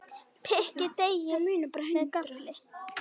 Pikkið deigið með gaffli.